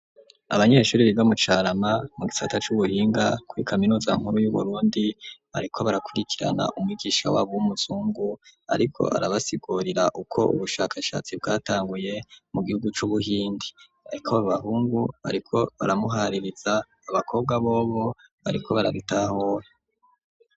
Abanyeshuri biga bibamucarama mu gisata c'ubuhinga kw'i kaminuza nkuru y'uburundi bariko barakurikirana umwigisha wabo uw'umuzungu, ariko barabasigurira uko ubushakashatsi bwatanguye mu gihugu c'ubuhindi, ariko babahungu bariko baramuhaririza abakobwa bobo bariko barabitahura.